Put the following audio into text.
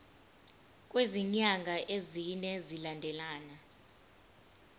kwezinyanga ezine zilandelana